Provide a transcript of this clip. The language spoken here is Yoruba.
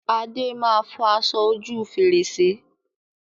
Adé máa fọ aṣọ ojú fèrèsé